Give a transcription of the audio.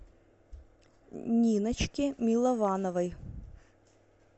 ниночке миловановой